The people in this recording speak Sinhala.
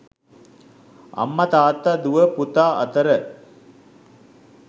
අම්ම තාත්ත දුව පුතා අතර